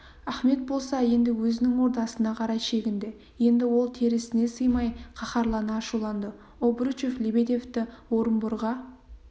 ахмет болса енді өзінің ордасына қарай шегінді енді ол терісіне сыймай қаһарлана ашуланды обручев лебедевті орынборға